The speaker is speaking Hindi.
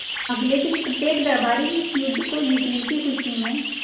अगले दिन प्रत्येक दरबारी इस युद्ध को जीतने की खुशी में